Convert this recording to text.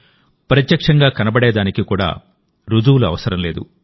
ప్రత్యక్షం గా కనబడేదానికి కూడా రుజువు అవసరం లేదు